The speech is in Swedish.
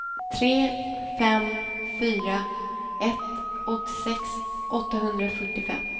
tre fem fyra ett åttiosex åttahundrafyrtiofem